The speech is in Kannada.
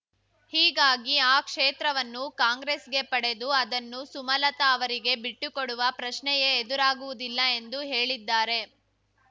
ಹೀಗಾಗಿ ಆ ಕ್ಷೇತ್ರವನ್ನು ಕಾಂಗ್ರೆಸ್‌ಗೆ ಪಡೆದು ಅದನ್ನು ಸುಮಲತಾ ಅವರಿಗೆ ಬಿಟ್ಟುಕೊಡುವ ಪ್ರಶ್ನೆಯೇ ಎದುರಾಗುವುದಿಲ್ಲ ಎಂದು ಹೇಳಿದ್ದಾರೆ